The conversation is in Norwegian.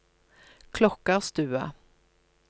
Klokkarstua